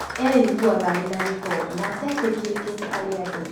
Eiguaga arĩ na gĩko na atetĩkĩrĩkĩte harĩ andũ